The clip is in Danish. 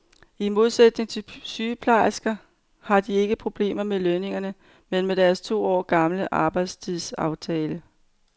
I modsætning til sygeplejerskerne har de ikke problemer med lønningerne, men med deres to år gamle arbejdstidsaftale.